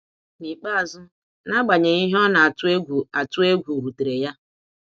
N’ikpeazụ, n'agbanyeghị ihe ọ na atụ egwu atụ egwu rutere ya.